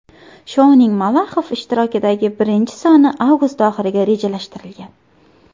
Shouning Malaxov ishtirokidagi birinchi soni avgust oxiriga rejalashtirilgan.